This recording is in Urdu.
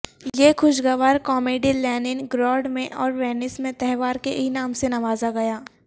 یہ خوشگوار کامیڈی لینن گراڈ میں اور وینس میں تہوار کے انعام سے نوازا گیا